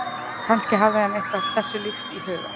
kannski hafði hann eitthvað þessu líkt í huga